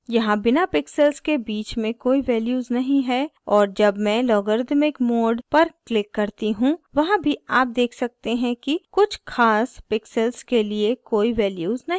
यहाँ बिना pixels के बीच में कोई values नहीं हैं और जब मैं logarithmic mode पर click करती हूँ वहाँ भी आप देख सकते हैं कि कुछ ख़ास pixels के लिए कोई values नहीं हैं